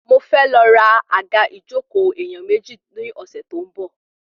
Mo fẹ́ lọ ra àga ìjókòó èèyàn mẹ́ta ní ọ̀sẹ̀ tó ń bọ̀